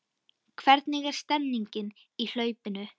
Hvernig er stemningin í hlaupinu?